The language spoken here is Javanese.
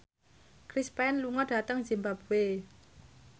Chris Pane lunga dhateng zimbabwe